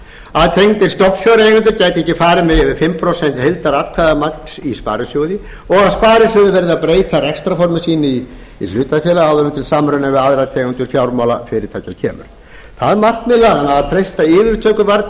að tengdir stofnfjáreigendur geti ekki farið með yfir fimm prósent heildaratkvæðamagns í sparisjóði og að sparisjóður verði að breyta rekstrarformi sínu í hlutafélag áður en til samruna við aðrar tegundir fjármálafyrirtækja kemur það markmið laganna að treysta yfirtökuvarnir